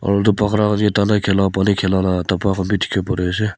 pani khela la dhaba khan bi dikhi bo pari ase.